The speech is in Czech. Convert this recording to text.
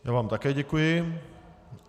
Já vám také děkuji.